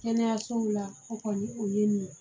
Kɛnɛyasow la o kɔni o ye nin ye